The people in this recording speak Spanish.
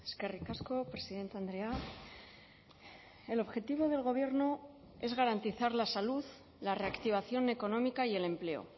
eskerrik asko presidente andrea el objetivo del gobierno es garantizar la salud la reactivación económica y el empleo